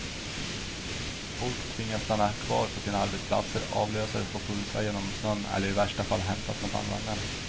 Folk tvingas stanna kvar på sina arbetsplatser, avlösare får pulsa genom snön eller i värsta fall hämtas med bandvagnar.